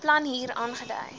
plan hier aangedui